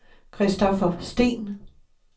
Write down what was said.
Christopher Steen